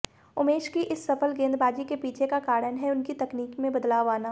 उमेश की इस सफल गेंदबाजी के पीछे का कारण है उनकी तकनीक में बदलाव आना